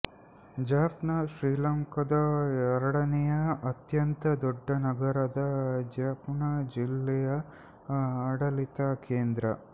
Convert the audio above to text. ಜಾಫ್ನ ಶ್ರೀಲಂಕಾದ ಎರಡನೆಯ ಅತ್ಯಂತ ದೊಡ್ಡ ನಗರ ಜಾಫ್ನ ಜಿಲ್ಲೆಯ ಆಡಳಿತ ಕೇಂದ್ರ